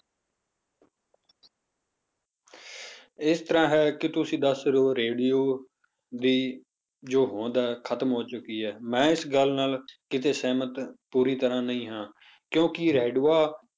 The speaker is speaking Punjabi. ਇਸ ਤਰ੍ਹਾਂ ਹੈ ਕਿ ਤੁਸੀਂ ਦੱਸ ਰਹੇ ਹੋ radio ਦੀ ਜੋ ਹੋਂਦ ਹੈ ਖ਼ਤਮ ਹੋ ਚੁੱਕੀ ਹੈ ਮੈਂ ਇਸ ਗੱਲ ਨਾਲ ਕਿਤੇ ਸਹਿਮਤ ਪੂਰੀ ਤਰ੍ਹਾਂ ਨਹੀਂ ਹਾਂ ਕਿਉਂਕਿ radio